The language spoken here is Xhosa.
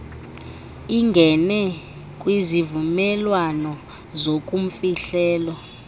ingene kwizivumelwano zobumfihlelo